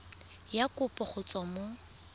ya kopo go tswa mo